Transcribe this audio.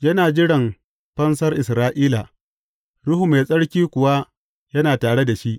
Yana jiran fansar Isra’ila, Ruhu Mai Tsarki kuwa yana tare da shi.